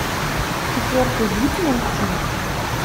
четвертый вид найти